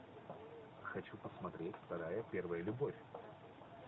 хочу посмотреть вторая первая любовь